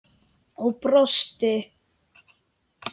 Og brosti!